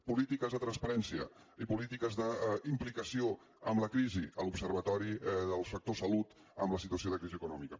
polítiques de transparència i polítiques d’implicació amb la crisi l’observatori del sector salut en la situació de crisi econòmica